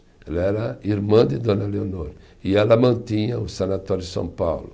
Ela era irmã de Dona Leonor e ela mantinha o Sanatório São Paulo.